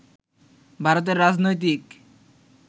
ভারতের রাজনৈতিক